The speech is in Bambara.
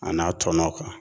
A n'a tɔnɔ kan.